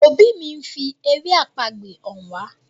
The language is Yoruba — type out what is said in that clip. òbí mí ńfi èrè àpagbè hàn wá.